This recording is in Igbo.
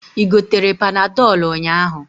I gotere panadolu ụnyaahụ?